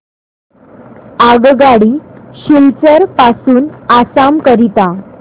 आगगाडी सिलचर पासून आसाम करीता